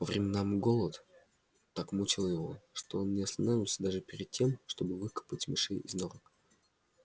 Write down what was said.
по временам голод так мучил его что он не останавливался даже перед тем чтобы выкапывать мышей из норок